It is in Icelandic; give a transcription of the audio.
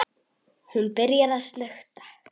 Hún byrjar að snökta.